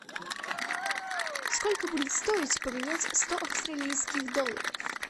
сколько будет стоить поменять сто австралийских долларов